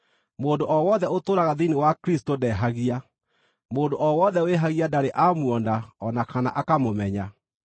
Mũndũ o wothe ũtũũraga thĩinĩ wa Kristũ ndehagia. Mũndũ o wothe wĩhagia ndarĩ amuona o na kana akamũmenya.